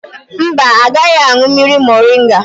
Mba, agaghị aṅụ mmiri moringa